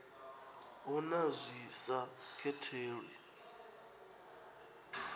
hu na zwi sa katelwi